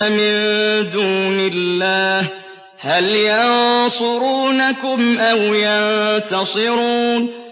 مِن دُونِ اللَّهِ هَلْ يَنصُرُونَكُمْ أَوْ يَنتَصِرُونَ